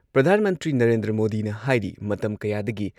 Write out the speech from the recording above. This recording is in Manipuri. ꯑꯥꯏ. ꯄ꯭ꯔꯤꯌꯣꯀꯨꯃꯥꯔ ꯁꯤꯡꯍꯁꯨ ꯁꯔꯨꯛ ꯌꯥꯈꯤ꯫ ꯄꯤ.ꯑꯦꯝ